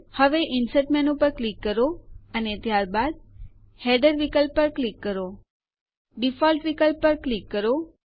હવે insert menu પર click કરો અને ત્યારબાદ હેડર વિકલ્પ પર ક્લિક કરો